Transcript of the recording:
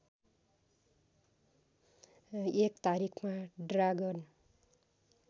१ तारिखमा ड्रागन